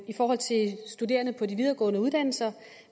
i forhold til studerende på de videregående uddannelser